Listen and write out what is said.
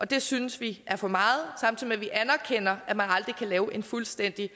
det synes vi er for meget samtidig med at vi anerkender at man aldrig kan lave en fuldstændig